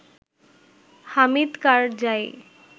Hamid Karzai